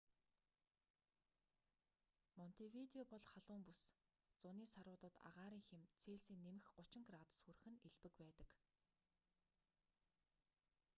монтевидео бол халуун бүс зуны саруудад агаарын хэм цельсийн +30 градус хүрэх нь элбэг байдаг